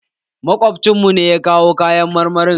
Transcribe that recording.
Makwabcin mu ne ya kawo kayan marmarin